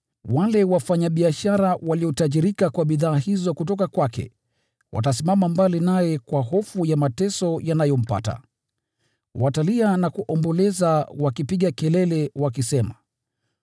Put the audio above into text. Wale wafanyabiashara waliotajirika kwa bidhaa hizo kutoka kwake watasimama mbali naye kwa hofu kubwa ya mateso yanayompata. Watalia na kuomboleza wakipiga kelele wakisema: